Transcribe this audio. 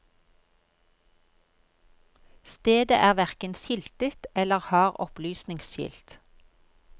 Stedet er verken skiltet eller har opplysningsskilt.